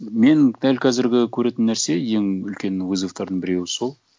мен дәл қазіргі көретін нәрсе ең үлкен вызовтардың біреуі сол